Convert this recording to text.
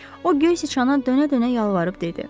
O göy siçana dönə-dönə yalvarıb dedi: